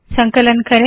संकलन करें